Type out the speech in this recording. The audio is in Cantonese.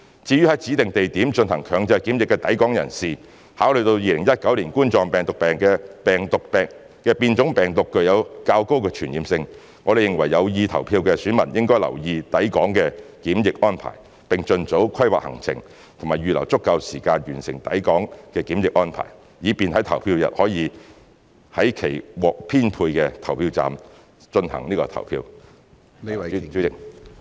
至於在指定地點進行強制檢疫的抵港人士，考慮到2019冠狀病毒病的變種病毒具有較高傳染性，我們認為有意投票的選民應留意抵港的檢疫安排，並盡早規劃行程及預留足夠時間完成抵港檢疫安排，以便在投票日可在其獲編配的投票站內行使投票權。